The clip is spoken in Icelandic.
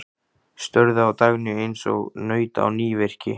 Störðu á Dagnýju eins og naut á nývirki.